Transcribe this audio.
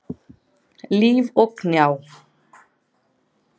Líf og Gná.